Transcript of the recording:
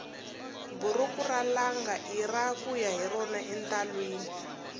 buruku ra langa ira kuya hi rona entalwini